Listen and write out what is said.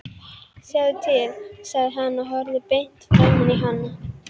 Sjáðu til, sagði hann og horfði beint framan í hana.